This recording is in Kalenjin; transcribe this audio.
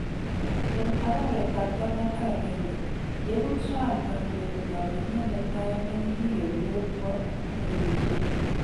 En araweetab taman ak agenge , yekuu Trump kandoindet ab emeet netai nekikiyoryor kwoo lewenishet